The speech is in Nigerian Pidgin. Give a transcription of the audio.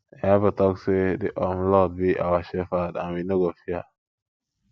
the bible talk say the um lord be our shepherd and we no go fear